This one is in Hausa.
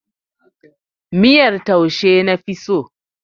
Miyar taushe na fi so.